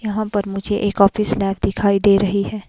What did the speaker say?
यहां पर मुझे एक ऑफिस लैब दिखाई दे रही है।